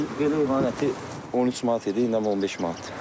Ötən il belə heyvanın əti 13 manat idi, indi 15 manatdır.